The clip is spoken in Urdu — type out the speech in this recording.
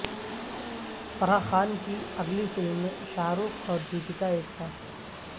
فرح خان کی اگلی فلم میں شاہ رخ اور دیپیکا ایک ساتھ